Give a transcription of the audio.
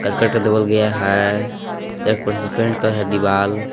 Cricket का double गया है दीवाल।